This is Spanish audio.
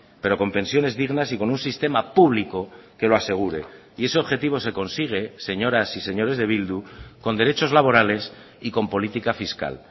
pero con pensiones dignas y con un sistema público que lo asegure y ese objetivo se consigue señoras y señores de bildu con derechos laborales y con política fiscal